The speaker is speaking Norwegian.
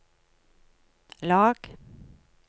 lag